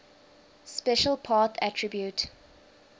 special path attribute